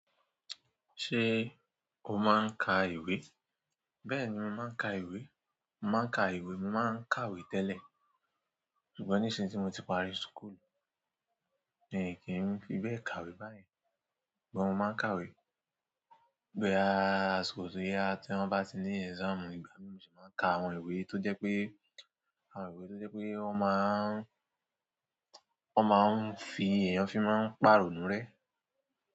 Ṣé o máa ń ka ìwé? Bẹ́ẹ̀ni, mo máa ń ka ìwé. Mo máa ń ka ìwé, mo máa ń kàwé tẹ́lẹ̀. Ṣùgbọ́n nísìnyí tí mo ti parí school, mí kì n fi bẹ́ẹ̀ kàwé báyen. Ṣùgbọ́n mo máa ń kàwé. Boya kòsi boya tí wọ́n bá ti ní exam nígbà náà ni mo sì máa ń ka àwọn ìwé tó jẹ́ pé, àwọn ìwé tó jẹ́ pé wọ́n máa ń, wọ́n máa ń fi èèyàn fi máa ń pàrọ̀nù rẹ.